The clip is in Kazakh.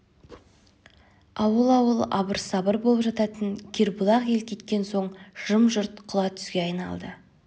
ауыл-ауыл абыр-сабыр болып жататын кербұлақ ел кеткен соң жым-жырт құла түзге айналды